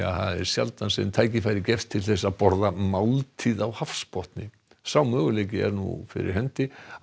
það er sjaldan sem tækifæri gefst til að borða máltíð á hafsbotni sá möguleiki er nú fyrir hendi á